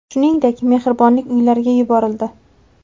Shuningdek, mehribonlik uylariga yuborildi.